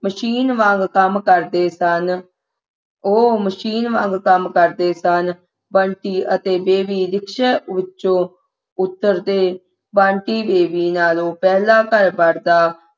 machine ਵਾਂਗ ਕੰਮ ਕਰਦੇ ਸਨ ਉਹ machine ਵਾਂਗ ਕੰਮ ਕਰਦੇ ਸਨ ਬੰਟੀ ਅਤੇ ਬੇਬੀ ਰਿਕਸ਼ੇ ਵਿੱਚੋਂ ਉੱਤਰਦੇ ਬੰਟੀ ਬੇਬੀ ਨਾਲੋਂ ਪਹਿਲਾਂ ਘਰ ਵੜਦਾ